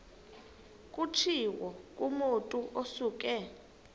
kutshiwo kumotu osuke